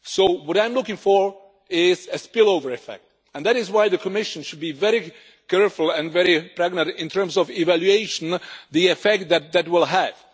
What I am looking for is a spillover effect, and that is why the Commission should be very careful and very pragmatic in terms of evaluation of the effect that will have.